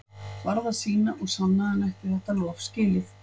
Varð að sýna og sanna að hann ætti þetta lof skilið.